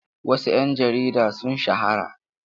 Wasu 'yan jarida sun shahara.